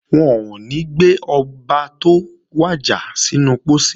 Wọn ò ní gbé Ọba tó wàjà sínú pósí